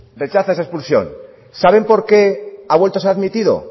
rechaza esa expulsión saben por qué ha vuelto a ser admitido